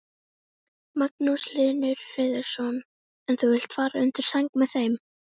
Magnús Hlynur Hreiðarsson: En þú vilt fara undir sæng með þeim?